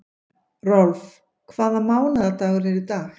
Rolf, hvaða mánaðardagur er í dag?